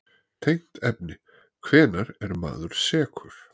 Tengt efni: Hvenær er maður sekur?